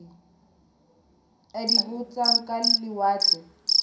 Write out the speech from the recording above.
a di botsang ka lewatle